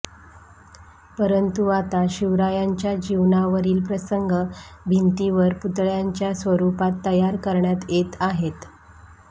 परंतु आता शिवरायांच्या जीवनावरील प्रसंग भिंतीवर पुतळय़ाच्या स्वरूपात तयार करण्यात येत आहेत